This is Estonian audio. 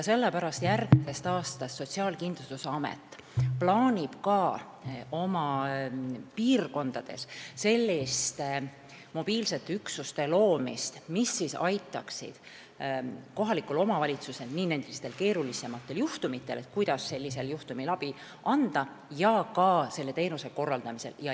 Sellepärast plaanib Sotsiaalkindlustusamet järgmisest aastast ka oma piirkondadesse selliste mobiilsete üksuste loomist, mis aitaksid kohalikku omavalitsust keerulisematel juhtumitel – kuidas sellisel juhul abi anda – ja ka teenuste korraldamisel.